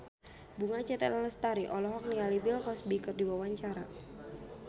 Bunga Citra Lestari olohok ningali Bill Cosby keur diwawancara